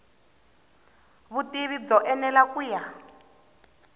vutivi byo enela ku ya